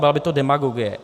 Byla by to demagogie.